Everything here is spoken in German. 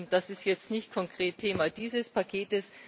Das ist jetzt nicht konkret Thema dieses Pakets.